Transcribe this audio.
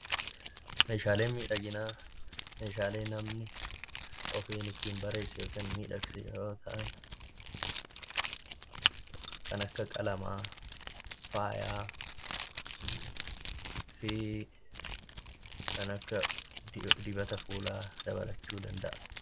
Meeshaaleen miidhaginaa meeshaalee namni ofiin ittiin miidhagsu yoo ta'an, kan akka qalamaa, faayaa fi kan akka dibata fuulaa dabalachuu danda'a.